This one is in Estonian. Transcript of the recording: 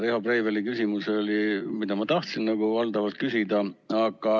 Riho Breiveli küsimus oli see, mida minagi tahtsin küsida.